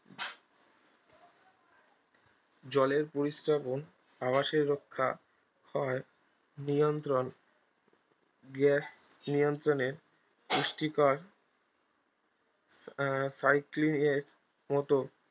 জলের পরিস্রাবন আবাসের রক্ষা হয় নিয়ন্ত্রন গ্যাস নিয়ন্ত্রনে পুষ্টিকর আহ cycling এর মতো